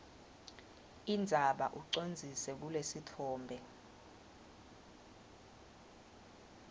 indzaba ucondzise kulesitfombe